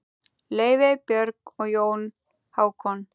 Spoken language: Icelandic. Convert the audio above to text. Laufey, Björg og Jón Hákon.